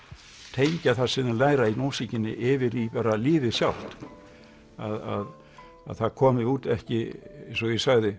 tengja það sem þau læra í músíkinni yfir í bara lífið sjálft að það komi út ekki eins og ég sagði